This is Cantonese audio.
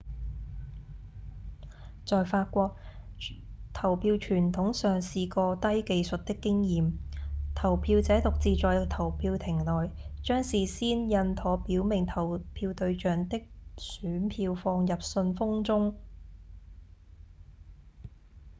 在法國投票傳統上是個低技術的經驗：投票者獨自在投票亭內將事先印妥表明投票對象的選票放入信封中